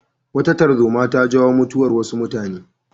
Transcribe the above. Wata tarzoma ta jawo mutuwar wasu mutane.